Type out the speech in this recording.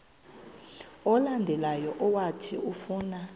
olandelayo owathi ufuna